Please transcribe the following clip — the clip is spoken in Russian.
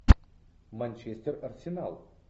манчестер арсенал